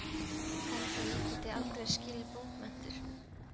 Held að ég geti aldrei skilið bókmenntir.